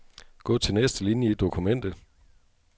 Gå til næste linie i dokumentet.